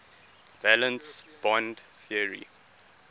valence bond theory